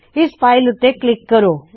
ਇਸ ਫ਼ਾਇਲ ਉੱਤੇ ਕਲਿੱਕ ਕਰੇ